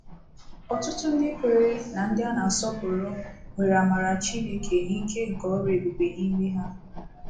Ọtụtụ ndị kweere na ndị a na-asọpụrụ nwere amara Chineke na ike nke ọrụ ebube n'ime ha.